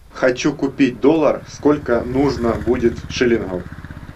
хочу купить доллар сколько нужно будет шиллингов